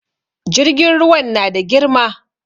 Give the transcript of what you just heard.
Jirgin ruwan na da girma